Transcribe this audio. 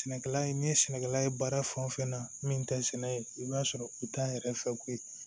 Sɛnɛkɛla ye n'i ye sɛnɛkɛla ye baara fɛn o fɛn na min tɛ sɛnɛ ye i b'a sɔrɔ u t'an yɛrɛ fɛ ko